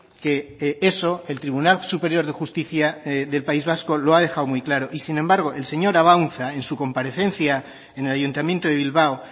que eso el tribunal superior de justicia del país vasco lo ha dejado muy claro sin embargo el señor abaunza en su comparecencia en el ayuntamiento de bilbao